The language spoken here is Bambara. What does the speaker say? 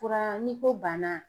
Fura n'i ko banna